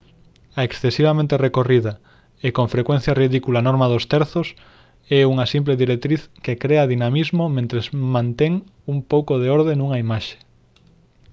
a excesivamente recorrida e con frecuencia ridícula norma dos terzos é unha simple directriz que crea dinamismo mentres mantén un pouco de orde nunha imaxe